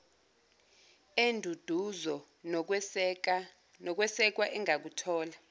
enduduzo nokwesekwa engakuthola